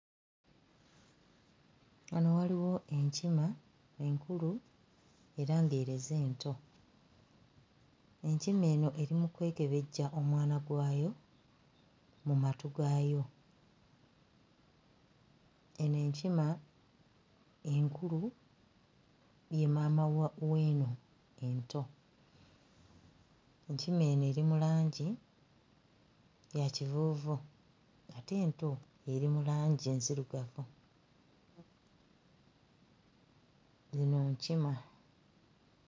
Wano waliwo enkima enkulu era ng'ereze ento enkima eno eri mu kwekebejja omwana gwayo mu matu gaayo eno enkima enkulu ye maama wa w'eno ento enkima eno eri mu langi ya kivuuvu ate ento eri mu langi nzirugavu, zino nkima.